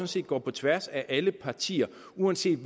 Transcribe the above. set går på tværs af alle partier uanset